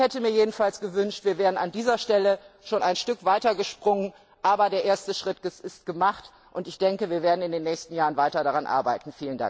Ich hätte mir jedenfalls gewünscht, wir wären an dieser Stelle schon ein Stück weiter gesprungen. Aber der erste Schritt ist gemacht, und ich denke, wir werden in den nächsten Jahren weiter daran arbeiten.